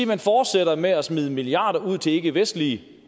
man fortsætter med at smide milliarder ud til ikkevestlige